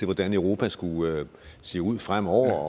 hvordan europa skulle se ud fremover